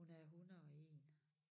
Hun er 101